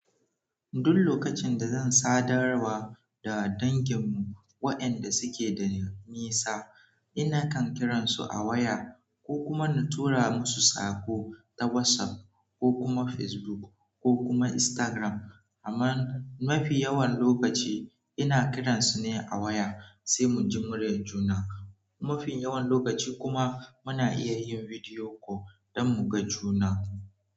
Duk lokacin da zan sadarwa da danginmu wayanda suke da nisa, ina kan kiransu a waya ko kuma na tura musu sako ta WhatsApp ko kuma Facebook ko kuma Instagram. Amma mafi yawan lokaci ina kiransu ne a waya sai mu ji muryar juna. Mafi yawan lokaci kuma muna iya yin video call dan muga juna.